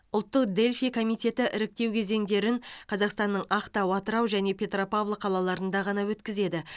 ұлттық дельфий комитеті іріктеу кезеңдерін қазақстанның ақтау атырау және петропавл қалаларында ғана өткізеді